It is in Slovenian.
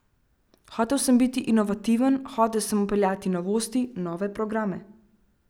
Hotel sem biti inovativen, hotel sem vpeljevati novosti, nove programe.